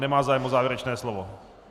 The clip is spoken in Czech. Nemá zájem o závěrečné slovo.